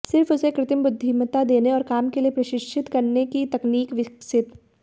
सिर्फ उसे कृत्रिम बुद्धिमत्ता देने और काम के लिए प्रशिक्षित करने की तकनीक विकसित